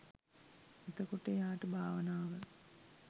එතකොට එයාට භාවනාව